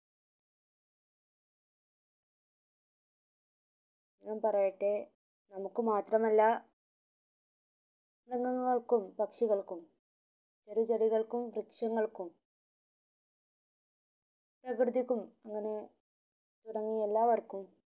നാം പറയെട്ടെ നമ്മുക് മാത്രല്ലാ കൾക്കും പക്ഷികൾക്കും ചറുചെടികൾക്കും വൃക്ഷങ്ങൾക്കും തുടങ്ങിയ എല്ലാവര്ക്കും